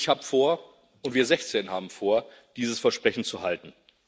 Und ich habe vor, und wir 16 haben vor, dieses Versprechen zu halten.